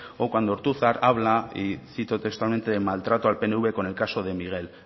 o cuando ortuzar habla y cito textualmente de maltrato al pnv con el caso de miguel